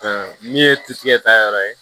min ye titigɛ ta yɔrɔ ye